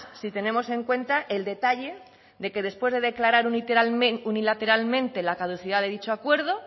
si tenemos en cuenta el detalle de que después de declarar unilateralmente la caducidad de dicho acuerdo